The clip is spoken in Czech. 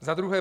Za druhé.